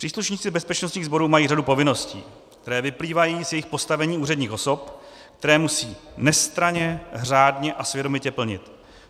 Příslušníci bezpečnostních sborů mají řadu povinností, které vyplývají z jejich postavení úředních osob, které musí nestranně, řádně a svědomitě plnit.